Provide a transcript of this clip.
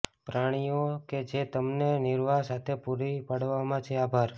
પ્રાણીઓ કે જે તમને નિર્વાહ સાથે પૂરી પાડવામાં છે આભાર